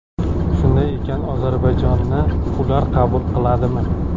Shunday ekan, Ozarbayjonni ular qabul qiladimi?